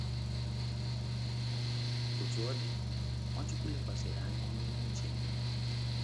Otú ọ dị, Nwachukwu lekwasịrị anya n’ime uche Nna ya.